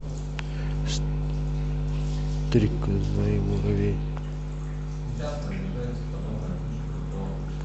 стрекоза и муравей